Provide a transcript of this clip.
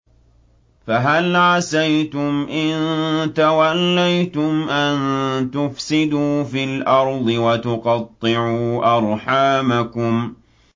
فَهَلْ عَسَيْتُمْ إِن تَوَلَّيْتُمْ أَن تُفْسِدُوا فِي الْأَرْضِ وَتُقَطِّعُوا أَرْحَامَكُمْ